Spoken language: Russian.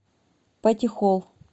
патихолл